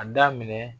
A daminɛ